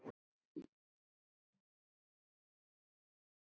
SKÚLI: Þá tapast nú fleira.